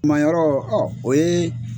Kuma yɔrɔ ɔ o yee